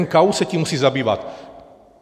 NKÚ se tím musí zabývat.